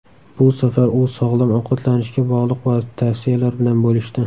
Bu safar u sog‘lom ovqatlanishga bog‘liq tavsiyalar bilan bo‘lishdi.